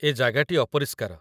ଏ ଜାଗାଟି ଅପରିଷ୍କାର।